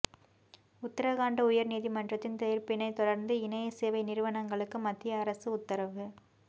உத்தரகாண்ட் உயர் நீதிமன்றத்தின் தீர்ப்பினைத் தொடர்ந்து இணைய சேவை நிறுவனங்களுக்கு மத்திய அரசு உத்தரவு